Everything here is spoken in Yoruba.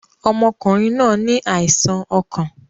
Ọmọkùnrin náa ní àìsàn ọkàn.